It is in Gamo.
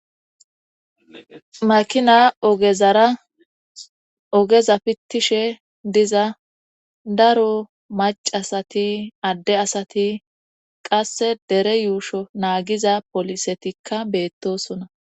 makina ogezara ogeza pittishe diza daro macasati adde asati qasse dere yuusho naagiza polisetikka beettosona